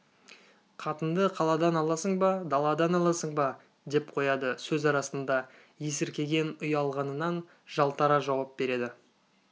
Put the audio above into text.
қатынды қаладан аласың ба даладан аласың ба деп қояды сөз арасында есіркеген ұялғанынан жалтара жауап береді